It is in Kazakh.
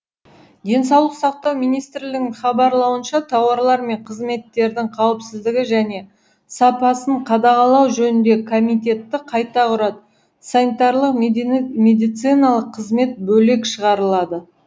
денсаулық сақтау министрлігінің хабарлауынша тауарлар мен қызметтердің қауіпсіздігі және сапасын қадағалау жөніндегі комитетті қайта құрады санитарлық медициналық қызмет бөлек шығарылады